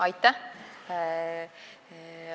Aitäh!